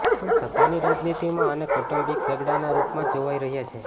પણ સત્તાની રાજનીતિમાં આને કૌટુબિક ઝગડાના રૂપમાં જ જોવાય રહ્યા છે